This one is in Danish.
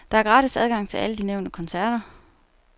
Der er gratis adgang til alle de nævnte koncerter.